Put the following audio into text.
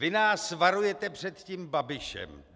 Vy nás varujete před tím Babišem.